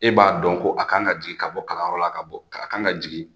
E b'a dɔn ko a kan ka jigin ka bɔ kalanyɔrɔ la, ka bɔ, a kan ka jigin